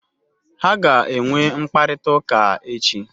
Ha ga-enwe mkparịta ụka echi